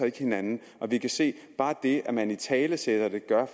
ikke hinanden vi kan se at bare det at man italesætter det